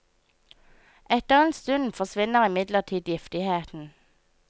Etter en stund forsvinner imidlertid giftigheten.